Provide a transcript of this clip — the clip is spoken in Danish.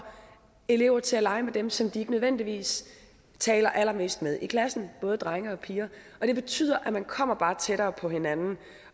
elever til at lege med dem som de ikke nødvendigvis taler allermest med i klassen både drenge og piger det betyder bare at man kommer tættere på hinanden